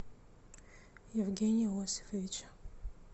евгения иосифовича